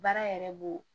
Baara yɛrɛ b'o